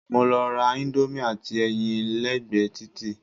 Mo lọ ra íńdómì àti ẹyin lẹ́gbẹ̀ẹ́ títì.